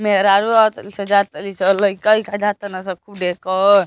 मेहरारू आवतारीसन जातारीसन लइका वोइका जातरसन खूब ढेर क।